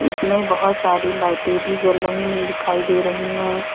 इसमें बहोत सारी लाइटे भी जल रही है दिखाई दे रही हैं।